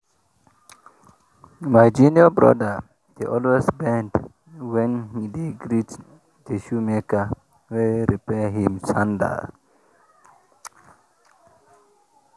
my junior brother dey always bend when he dey greet the shoemaker wey repair him sandal.